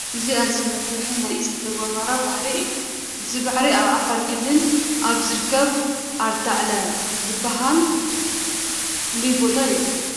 እዚ ኣዝዩ መፍርሒ ናይ እሳተ ጐመራ ባሕሪ እዩ፡፡ እዚ ባሕሪ ኣብ ዓፋር ክልል ኣብ ዝርከብ ኣርታዕለ ዝበሃል ፍሉይ ቦታ ይርከብ፡፡